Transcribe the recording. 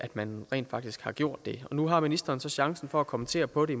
man rent faktisk har gjort det nu har ministeren så chancen for at kommentere på de